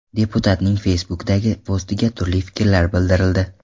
Deputatning Facebook’dagi postiga turli fikrlar bildirildi.